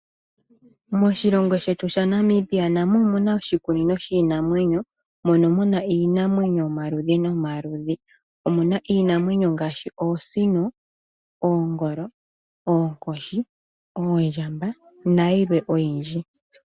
Moshilongo shetu sha Namibia namo omuna oshikunino shiinanwenyo mono muna iinamwenyo yomaludhi nomaludhi. Omuna iinamwenyo ngaashi oosino, oongolo, oonkoshi, oondjamba nayilwe oyindji.